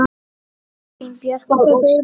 Katrín Björg og Óskar.